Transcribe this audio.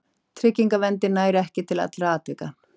Tryggingaverndin nær ekki til allra atvika.